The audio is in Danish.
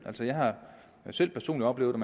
altså jeg har selv personlig oplevet at